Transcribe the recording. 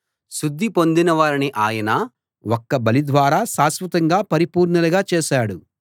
శుద్ధి పొందిన వారిని ఆయన ఒక్క బలి ద్వారా శాశ్వతంగా పరిపూర్ణులుగా చేశాడు